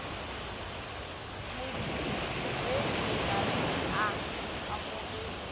modiredi ga se a amogele